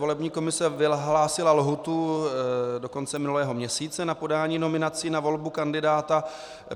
Volební komise vyhlásila lhůtu do konce minulého měsíce na podání nominací na volbu kandidáta.